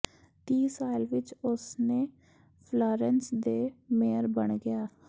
ਤੀਹ ਸਾਲ ਵਿਚ ਉਸ ਨੇ ਫ੍ਲਾਰੇਨ੍ਸ ਦੇ ਮੇਅਰ ਬਣ ਗਿਆ